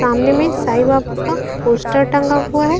सामने में साईं बापू का पोस्टर टंगा हुआ है।